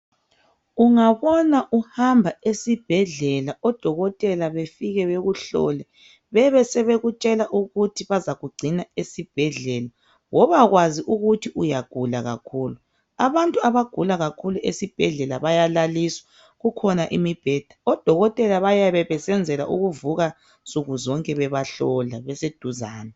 Ungabona uhamba esibhedlela odokotela bafike bekuhlole bebe sebekutshela ukuthi bazakugcina esibhedlela wobakwazi ukuthi uyagula kakhulu abantu abagula kakhulu esibhedlela bayalaliswa kukhona imibheda odokotela bayabe besenzela ukuvuka nsuku zonke bebahlola beseduzane